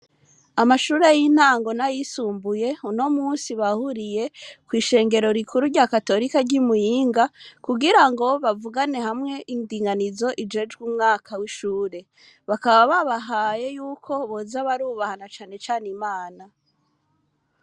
Amashure y'intango, n'ayisumbuye, uno munsi, bahuriye, kw'ishengero rikuru, rya katorika, ry'i Muyinga; kugira ngo, bavugane hamwe indinganizo, ijejwe umwaka w'ishure; bakaba, babahaye y'uko boza barubaha, na cane cane, Imana.